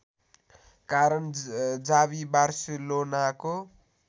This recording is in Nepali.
कारण जावी बार्सेलोनाको